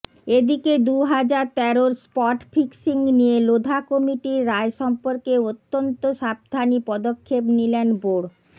এদিকে দুহাজার তেরোর স্পট ফিক্সিং নিয়ে লোধা কমিটির রায় সম্পর্কে অত্যন্ত সাবধানী পদক্ষেপ নিলেন বোর্ড